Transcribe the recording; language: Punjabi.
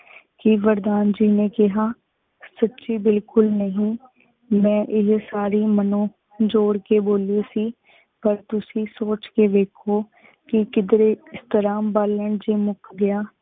ਕੀ ਵਰਦਾਨ ਜੀ ਨੀ ਕਹਾ, ਸੂਚੀ ਬਿਲਕੁਲ ਨਹੀ, ਮੈਂ ਆਹੀ ਸਾਰੀ ਮਨੋਂ ਜੋੜ ਕੇ ਬੋਲੀ ਸੀ ਪਰ ਤੁਸੀਂ ਸੋਚ ਕੀ ਵੇਖੋ ਕੀ ਕਿਧਰੇ ਇਸ ਤਰਾਂ ਬਾਲਣ ਜੀ ਮੁਕ ਗਯਾ